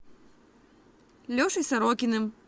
лешей сорокиным